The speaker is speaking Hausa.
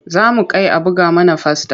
Za mu kai a buga mana fasta.